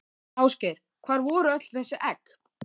Ásgeir: Hvar voru öll þessi egg?